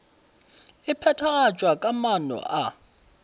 e phethagatšwa ka maano a